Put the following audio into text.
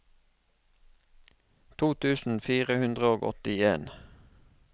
to tusen fire hundre og åttien